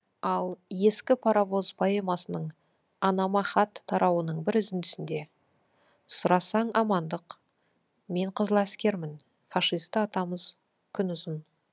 ал ескі паровоз поэмасының анама хат тарауының бір үзіндісінде сұрасаң амандық мен қызыл әскермін фашисті атамыз күн ұзын